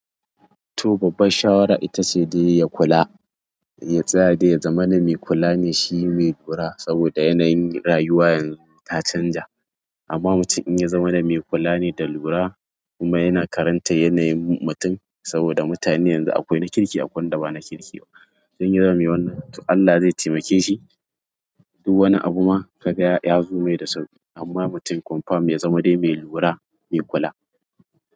Toh babban shawara itace dai ya kula, ya tsaya dai yazamana me kula me shi me lura, saboda yanayin rayuwa ta canza amma mutum in ya zamana mai kula ne da lura kuma yana karantan yanayin mutum, saboda mutane yanzu akwai na kirki akwai wanda ba na kirki ba. In ya zama me wannan, to Allah ze taimake shi duk wani abu ma ka ga ya zo mai da sauƙi. Amma mutum comfirm ya zama dai mai lura, mai kula.